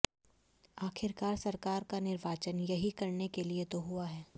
आखिरकार सरकार का निर्वाचन यही करने के लिए तो हुआ है